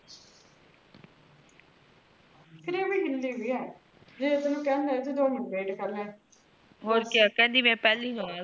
ਇਹ ਤਾ ਹਿੱਲੀ ਹੋਈ ਆ ਫੇਰ ਤੇਨੁ ਕੇਹਾ ਤਾ ਦੋ minute wait ਕਰ ਲ